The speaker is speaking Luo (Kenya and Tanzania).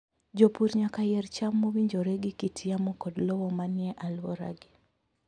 Jopur nyaka yier cham mowinjore gi kit yamo kod lowo manie alworagi.